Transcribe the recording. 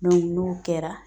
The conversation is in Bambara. n'o kɛra